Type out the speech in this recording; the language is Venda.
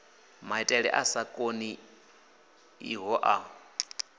maitele a sa konḓiho a